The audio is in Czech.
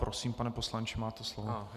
Prosím, pane poslanče, máte slovo.